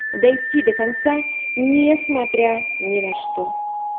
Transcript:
дойти до конца несмотря ни на что